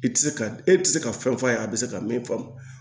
I tɛ se ka e tɛ se ka fɛn f'a ye a bɛ se ka min faamu